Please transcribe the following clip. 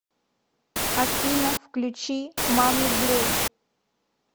афина включи мами блю